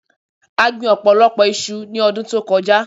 A gbin ọ̀pọ̀lọpọ̀ iṣu ní ọdún tí ó kọjá.